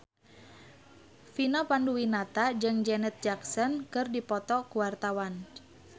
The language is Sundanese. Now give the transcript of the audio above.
Vina Panduwinata jeung Janet Jackson keur dipoto ku wartawan